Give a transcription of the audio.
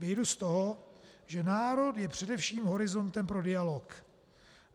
Vyjdu z toho, že národ je především horizontem pro dialog.